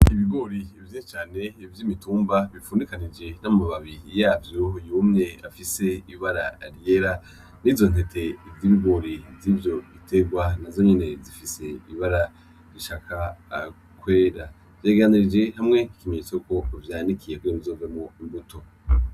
Ibigori vyinshi cane vy'imitumba bifundikanije n'amababi yavyo yumye afise ibara ryera. N'izo ntete z'ibigori z'ivyo biterwa nazo nyene zifise ibara rishaka kwera. Vyegeranirije hamwe nk'ikimenyenyetso yuko vyanikiye kugira ngo bizovemwo imbuto.